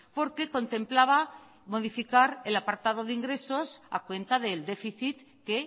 porque contemplaba modificar el apartado de ingresos a cuenta del déficit que